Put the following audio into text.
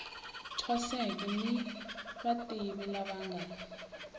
thwaseke ni vativi lava nga